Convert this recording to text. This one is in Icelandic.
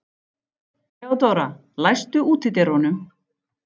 Theodóra, læstu útidyrunum.